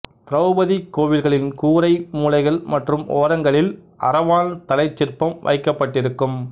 திரௌபதி கோவில்களின் கூரை மூலைகள் மற்றும் ஓரங்களில் அரவான் தலைச் சிற்பம் வைக்கப்பட்டிருக்கும்